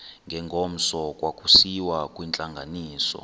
ngengomso kwakusiyiwa kwintlanganiso